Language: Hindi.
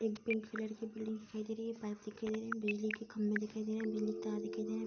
एक पिंक कलर की बिल्डिंग दिखाई दे रही है। पाइप दिखाई दे रहे है। बिजली के खम्भे दिखाई दे रहे हैं। बिजली के तार दिखाई दे रहे हैं।